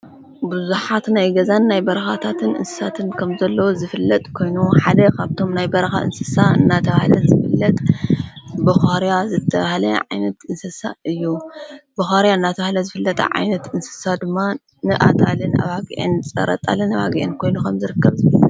ብዙኃት ናይገዛን ናይ በርኻታትን ንንስሳትን ከም ዘለዎ ዝፍለጥ ኮይኑ ሓደ የኻብቶም ናይ በርኻ እንስሳ እናህለ ዘፍለጥ ብርያ ዘተሃለ ዓይነት እንስሳ እዩ ብዋርያ እናተብሃለ ዝፍለጥ ዓይነት እንስሳ ድማ ንኣጣልን ኣባግአን ጸረጣልን ኣባጊአን ኮይኑ ኸም ዘርከብ እዩ።